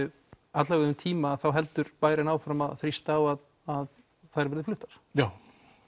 alla vega um tíma heldur bærinn áfram að þrýsta á að að þær verði fluttar já